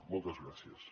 moltes gràcies